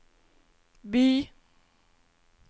by